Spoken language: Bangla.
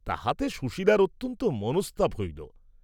তাহাতে সুশীলার অত্যন্ত মনস্তাপ হইল।